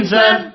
జైహింద్